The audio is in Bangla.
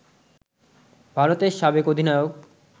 ভারতের সাবেক অধিনায়ক